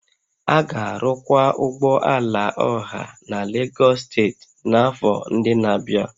A ga-arụkwa ụgbọ ala ọha na Lagos steeti n'afọ ndị na-abịa